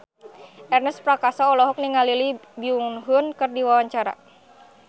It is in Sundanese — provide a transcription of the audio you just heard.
Ernest Prakasa olohok ningali Lee Byung Hun keur diwawancara